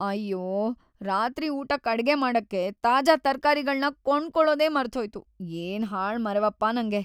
ಅಯ್ಯೋ, ರಾತ್ರಿ ಊಟಕ್ ಅಡ್ಗೆ ಮಾಡಕ್ಕೆ ತಾಜಾ ತರ್ಕಾರಿಗಳ್ನ ಕೊಂಡ್ಕೊಳೋದೇ ಮರ್ತ್‌ಹೋಯ್ತು, ಏನ್‌ ಹಾಳ್‌ ಮರೆವಪ್ಪ ನಂಗೆ.